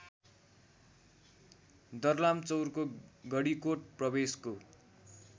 दर्लामचौरको गडीकोट प्रवेशको